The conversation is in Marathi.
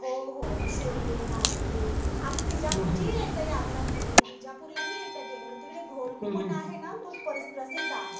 हो हो शिर्डी नाशिक आम्ही विजापूरचीही एकदा यात्रा केलेली. विजापूरला हि एकदा गेलेलो तिकडे गोलघुमट आहे ना, तो प्रसिद्ध आहे.